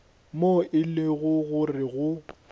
moo e lego gore go